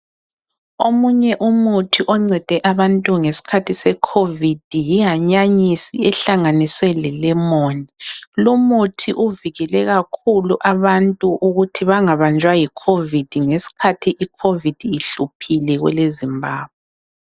Omunye umuthi oncede abantu ngesikhathi se COVID yihanyanisi ehlanganiswe lelemoni. Lumuthi uvikele kakhulu abantu ukuthi bangabanjwa yi COVID ngesikhathi I COVID ihluphile kweleZimbabwe.